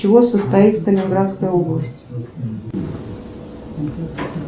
из чего состоит сталинградская область